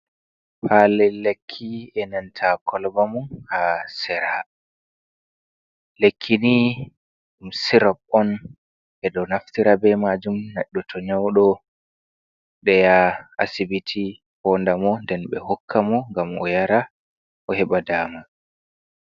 Palel lekki e nanta kolba mun ha serha, lekki ni ɗum sirob on ɓe ɗo naftira be majum neddo to nyaudo nden yaha asibiti fondamo nden be hokka mo ngam o yara o heba dama.